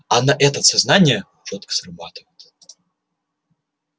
а на этот сознание чётко срабатывает